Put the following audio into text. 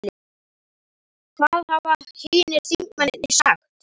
Hvaða hafa hinir þingmennirnir sagt?